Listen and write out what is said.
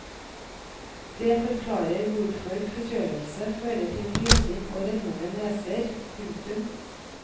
Det forklarer hvorfor forkjølelse fører til nysing og rennende neser. punktum